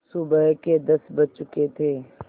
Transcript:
सुबह के दस बज चुके थे